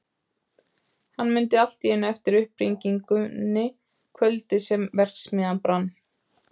Hann mundi allt í einu eftir upphringingunni kvöldið sem verksmiðjan brann.